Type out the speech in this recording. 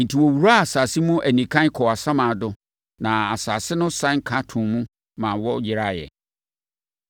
Enti, wɔwuraa asase mu anikann kɔɔ asamando na asase no sane ka too mu ma wɔyeraeɛ.